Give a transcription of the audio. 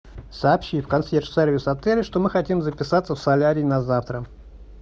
сообщи в консьерж сервис отеля что мы хотим записаться в солярий на завтра